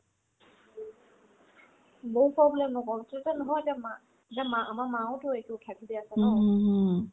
বহুত problem নকই তেতিয়া নহয় এতিয়া মা যেন মা আমাৰ মাওতো এইটো ঢাকি দি আছে ন